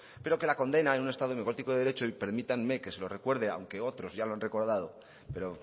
pero que la condena en un estado democrático y de derecho y permítanme que se lo recuerde aunque otros ya lo han recordado pero